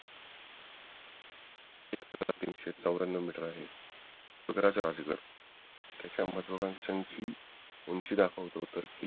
तीनशे चौर्यान्नवू मीटर आहे राजगड त्याच्या माधोमद उंची दाखवतो